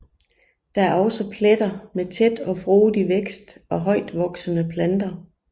Der er også pletter med tæt og frodig vækst af højtvoksende planter